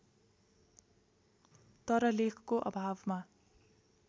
तर लेखको अभावमा